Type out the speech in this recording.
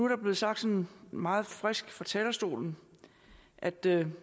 der blevet sagt sådan meget frisk fra talerstolen at det